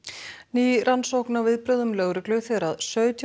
ný rannsókn á viðbrögðum lögreglu þegar sautján